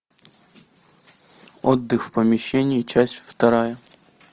отдых в помещении часть вторая